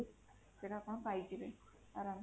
ସେଟା ଆପଣ ପାଇଯିବେ ଅରାମ ସେ